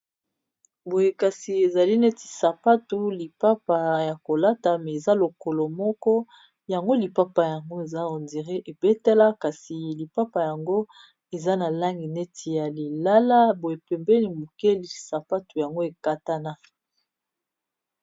Boye kasi ezali neti sapatu lipapa ya kolata mais eza lokolo moko yango lipapa yango eza on dirait ebetela kasi lipapa yango eza na langi neti ya lilala boye pembeni mokie sapatu yango ekatana